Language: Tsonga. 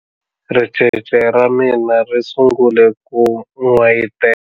Ricece ra mina ri sungule ku n'wayitela.